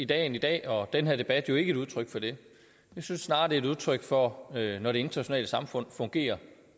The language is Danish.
dagen i dag og den her debat jo ikke et udtryk for det jeg synes snarere det er udtryk for når det internationale samfund fungerer